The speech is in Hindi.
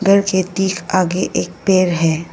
यह खेत के आगे एक पेड़ है।